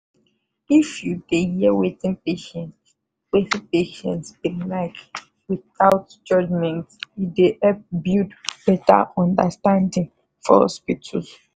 if you dey hear wetin patient wetin patient bin like withouth judgment e dey help build better understanding for hospitals